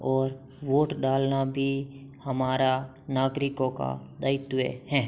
और वोट डालना भी हमारा नागरिकों का दायित्व हैं।